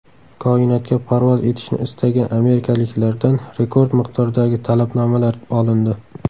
Koinotga parvoz etishni istagan amerikaliklardan rekord miqdordagi talabnomalar olindi.